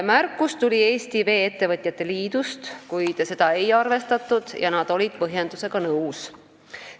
Märkus tuli Eesti Vee-ettevõtete Liidust, kuid seda ei arvestatud ja nad olid põhjendusega nõus.